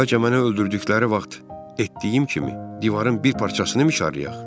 Bəlkə məni öldürdükləri vaxt etdiyim kimi divarın bir parçasını micharlayaq.